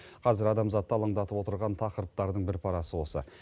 қазір адамзатты алаңдатып отырған тақырыптардың бір парасы осы